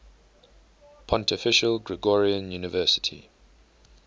pontifical gregorian university